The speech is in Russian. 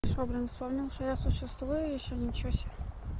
что блин вспомнил что я существую ещё ничего себе